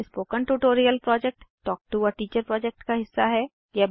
spoken tutorial project talk to a teacher project का हिस्सा है